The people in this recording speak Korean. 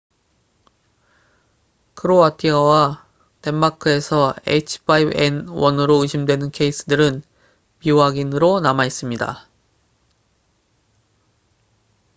크로아티아와 덴마크에서 h5n1으로 의심되는 케이스들은 미확인으로 남아있습니다